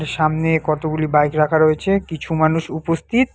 সামনে কতগুলি বাইক রাখা রয়েছে কিছু মানুষ উপস্থিত।